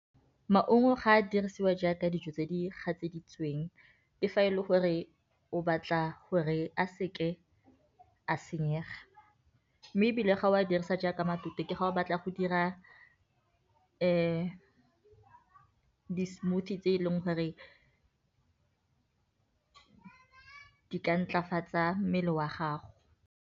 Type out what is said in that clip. Maungo ga a dirisiwa jaaka dijo tse di gatseditsweng ke fa e le gore o batla gore a seke a senyega, mme ebile ga o a dirisa jaaka matute fa o batla go dira di smoothie tse e leng gore di ka nthwafatso ya mmele wa gago.